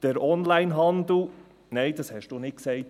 Der Onlinehandel ... Richtig, das hast du nicht gesagt.